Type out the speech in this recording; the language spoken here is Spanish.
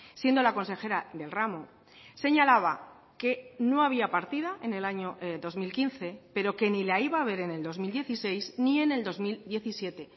siendo la consejera del ramo señalaba que no había partida en el año dos mil quince pero que ni la iba a haber en el dos mil dieciséis ni en el dos mil diecisiete